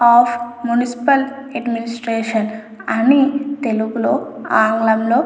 of municipal administration అని తెలుగు లో ఆంగ్లం లో రాసిన--